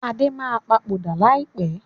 Adé máa papòdà lai pẹ̀